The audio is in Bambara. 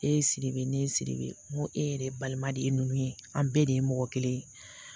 E ye siribe ne ye siribe n ko e yɛrɛ balima de ye ninnu ye an bɛɛ de ye mɔgɔ kelen ye